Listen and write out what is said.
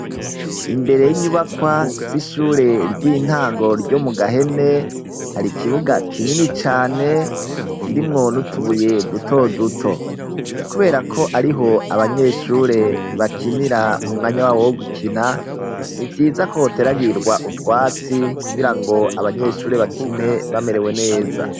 Imbere y'inyubakwa z'ishure ry'intango ryo mu Gahene, har'ikibuga kinini cane, kirimwo n'utubuye duto duto. Kuberako ariho abanyeshure bakinira, mu mwanya w'abo wo gukina, n'ivyizako hoteragirwa utwatsi, kugira ngo abanyeshure bakine bamerewe neza.